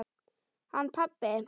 Hann pabbi?